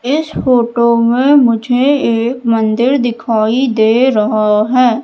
इस फोटो में मुझे एक मंदिर दिखाई दे रहा हैं।